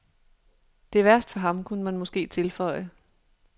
Det er værst for ham, kunne man måske tilføje.